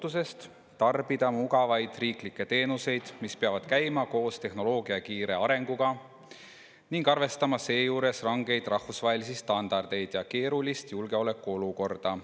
tarbida mugavaid riiklikke teenuseid, mille peab käima koos tehnoloogia kiire arenguga, kusjuures tuleb arvestada rangeid rahvusvahelisi standardeid ja keerulist julgeolekuolukorda.